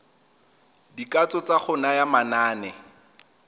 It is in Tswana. dikatso tsa go naya manane